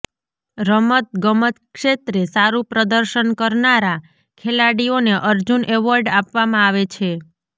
રમત ગમત ક્ષેત્રે સારુ પ્રદર્શન કરનારા ખેલાડીઓને અર્જુન એવોર્ડ આપવામાં આવે છે